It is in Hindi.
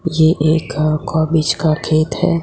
ये एक कोबिज का खेत हैं।